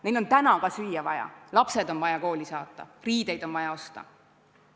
Neil on praegu ka süüa vaja, lapsed on vaja kooli saata, riideid on vaja osta.